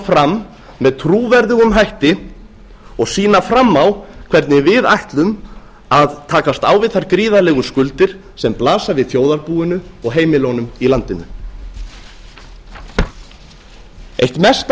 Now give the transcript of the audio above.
fram með trúverðugum hætti og sýna fram á hvernig við ætlum að takast á við þær gríðarlegu skuldir sem blasa við þjóðarbúinu og heimilunum í landinu eitt mesta